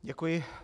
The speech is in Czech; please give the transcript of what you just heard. Děkuji.